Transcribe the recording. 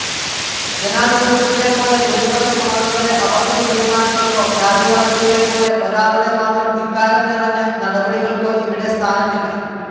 ജനാധിപത്യത്തിലെപ്പോലെ ഭൂരിപക്ഷം ആളുകളുടെ അപക്വതീരുമാനങ്ങൾക്കോ, രാജവാഴ്ചയിലെപ്പോലെ ഒരാളുടെമാത്രം ധിക്കാരംനിറഞ്ഞ നടപടികൾക്കോ ഇവിടെ സ്ഥാനമില്ല.